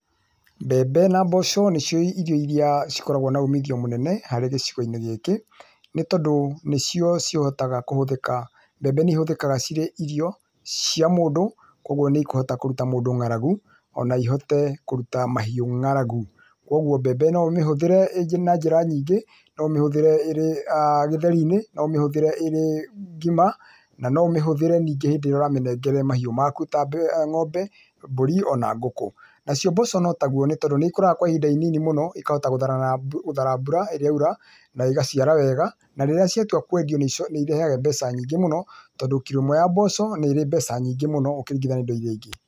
Mbembe na mboco nĩcio irio iria cikoragũo na uumithio mũnene harĩ gĩcigo-inĩ gĩkĩ, nĩ tondũ nĩcio cihotaga kũhũthĩka, mbembe nĩ ihũthĩkaga cirĩ irio, cia mũndũ, kwoguo nĩ ikũhota kũruta mũndũ ng'aragu, o na ihote kũruta mahiũ ng'aragu. Kwoguo mbembe no ũmĩhũthĩre na njĩra nyingĩ, no ũmĩhũthĩre ĩrĩ gĩtheri-inĩ, no ũmĩhũthĩre ĩrĩ ngima, na no ũmĩhũthĩre ningĩ hĩndĩ ĩrĩa ũramĩnengere mahiũ maku ta ng'ombe, mbũri o na ngũkũ. Nacio mboco no taguo nĩ tondũ nĩ ikũraga kwa ihinda inini mũno, ikahota gũthara mbura ĩrĩa yaura, na igaciara wega, na rĩrĩa ciatua kwendio nĩ irehaga mbeca nyingĩ mũno, tondũ kirũ ĩmwe ya mboco nĩ ĩrĩ mbeca nyingĩ mũno gũkĩringithanio na indo iria ingĩ.